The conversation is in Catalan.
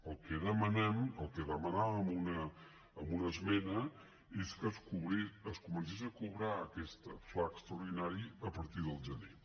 el que demanem el que demanàvem en una esmena és que és comencés a cobrar aquest fla extraordinari a partir del gener